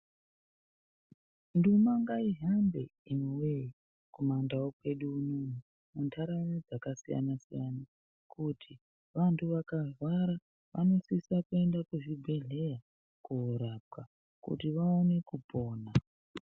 Nduma ngaihambe imi voyee kumandau kwedu unono. Munharaunda dzakasiyana-siyana, kuti vantu vakarwara vanosisa kuenda kuzvibhedhleya korapwa kuti vaone kupona.